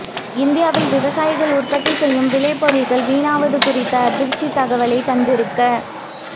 இந்தியாவில் விவசாயிகள் உற்பத்தி செய்யும் விளை பொருட்கள் வீணாவது குறித்த அதிர்ச்சித் தகவலைத் தந்திருக்